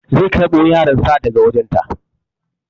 Zai karɓa yaron sa daga wajen ta